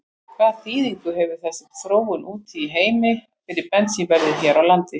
Hvaða þýðingu hefur þessi þróun úti í heimi fyrir bensínverðið hér á landi?